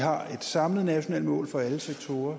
har et samlet nationalt mål for alle sektorer